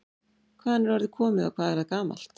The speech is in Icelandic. Hvaðan er orðið komið og hvað er það gamalt?